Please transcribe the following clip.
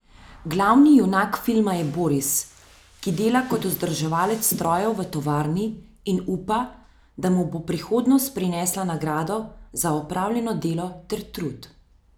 Glavni junak filma je Boris, ki dela kot vzdrževalec strojev v tovarni in upa, da mu bo prihodnost prinesla nagrado za opravljeno delo ter trud.